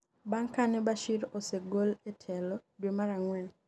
bang' kane Bashir osegol e telo dwe mar ang'wen